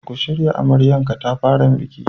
Ka shiryawa amaryar katafaren bikin.